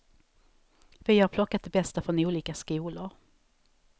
Vi har plockat det bästa från olika skolor.